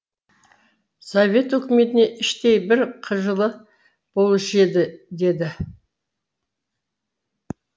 совет өкіметіне іштей бір қыжылы болушы еді деді